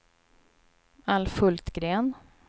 Alf Hultgren